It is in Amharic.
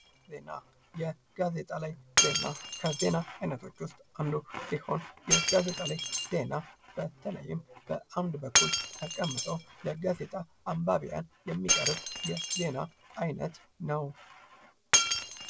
ዜና፦ የጋዜጣ ላይ ዜና፦ የጋዜጣ ላይ ዜና ከዜና አይነቶች ውስጥ አንዱ ሲሆን በተለይም በአንድ በኩል ተቀምጠው የጋዜጣ አንባብያን የሚቀርብ የዜና አይነት ነው።